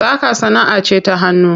Saƙa sanaʼa ce ta hannu.